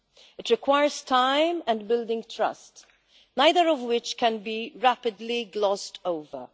It requires time and building trust, neither of which can be rapidly glossed over.